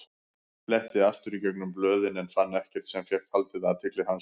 Fletti aftur í gegnum blöðin en fann ekkert sem fékk haldið athygli hans.